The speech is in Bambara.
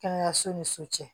Kɛnɛyaso ni so cɛ